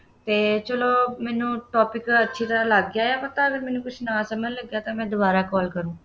ਅਤੇ ਚੱਲੋ ਮੈਨੰ topic ਅੱਛੀ ਤਰ੍ਹਾਂ ਲੱਗ ਗਿਆ ਹੈ ਪਤਾ, ਜੇ ਮੇਂਨੂੰ ਕੁੱਝ ਨਾ ਸਮਝ ਲੱਗਿਆ ਤਾਂ ਮੈਂ ਦੁਬਾਰਾ call ਕਰੂੰ